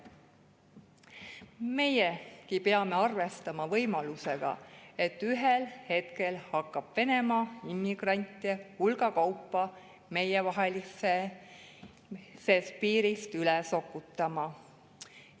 Meiegi peame arvestama võimalusega, et ühel hetkel hakkab Venemaa immigrante hulga kaupa meievahelisest piirist üle sokutama.